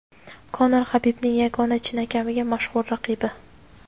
Konor Habibning yagona chinakamiga mashhur raqibi.